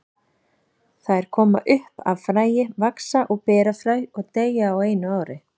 Þær koma upp af fræi, vaxa og bera fræ og deyja á einu ári.